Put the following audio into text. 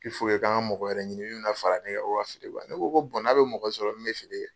k'an ka mɔgɔ wɛrɛ ɲini min bɛ na fara ne kan ko ka feere kɛ ne ko n'a bɛ mɔgɔ sɔrɔ min bɛ feere